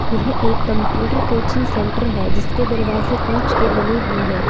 यह एक computer coaching centre है जिसके दरवाजे कांच के बने हुए हैं।